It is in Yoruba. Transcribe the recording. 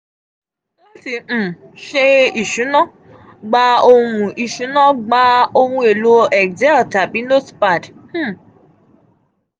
lati um ṣe isuna gba ohun isuna gba ohun elo excel tabi notepad um